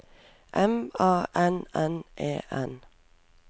M A N N E N